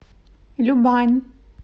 любань